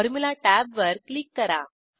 formula टॅबवर click करा